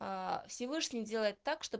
всевышний делает так чтобы